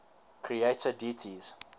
creator deities